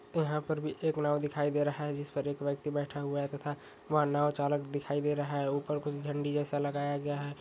यहां पर भी एक नाव दिखाई दे रहा है जिस पर एक व्यक्ति बेठा हुआ है तथा वहा नाव चालक दिखाई दे रहा है ऊपर कुछ झंडी जैसा लगाया गया है।